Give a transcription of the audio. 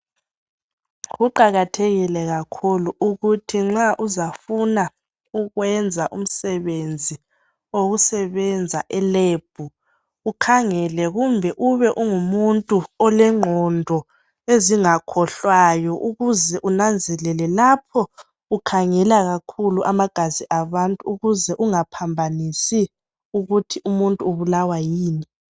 Kuqakathekile kakhulu ukuthi nxa uzafuna ukwenza umsebenzi owokusebenza elebhu ukhangele kumbe ube ungumuntu olengqondo ezingakhohlwayo ukuze unanzelele lapho ukhangela kakhulu amagazi abantu ukuze ungaphambanisi ukuthi umuntu ubulawa yini.